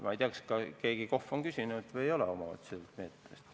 Ma ei tea, kas mõni KOV on omavalitsuse meetmest midagi küsinud või ei ole.